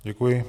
Děkuji.